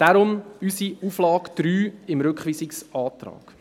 Darum unsere Auflage 3 im Rückweisungsantrag.